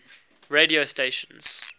radio stations